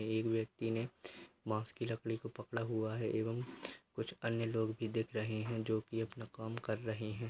एक व्यक्ति ने बांस की लकड़ी को पकड़ा हुआ है एवं कुछ अन्य लोग भी दिख रहे है जो कि अपना काम कर रहे है।